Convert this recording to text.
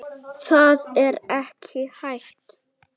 Það er ekki hægt